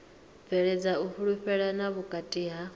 bveledza u fhulufhelana vhukati ha